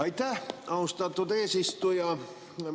Aitäh, austatud eesistuja!